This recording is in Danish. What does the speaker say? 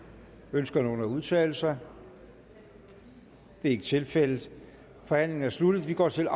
ønsker nogen at udtale sig det er ikke tilfældet forhandlingen er sluttet og vi går til